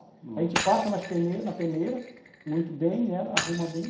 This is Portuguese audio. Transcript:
A gente passa nas peneiras, peneira, muito bem, ela arruma bem.